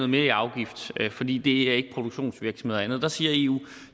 mere afgift fordi de ikke er produktionsvirksomheder eller andet der siger eu